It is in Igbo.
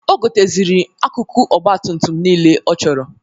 O goteziri akụkụ ọgbatumtum nile ọ chọrọ.